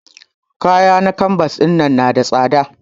Ƙaya na canvas ɗinnan yana da tsada.